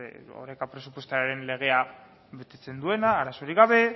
beste oreka presupuestarioaren legea betetzen duena arazorik gabe